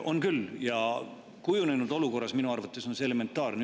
On küll, ja kujunenud olukorras minu arvates on see elementaarne.